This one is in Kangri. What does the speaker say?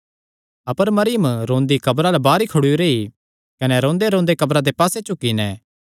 अपर मरियम रोंदी कब्रा अल्ल बाहर ई खड़ोई रेई कने रोंदेरोंदे कब्रा दे पास्से झुकी नैं